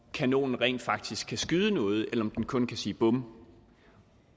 kanonerne rent faktisk kan skyde noget eller om de kun kan sige bum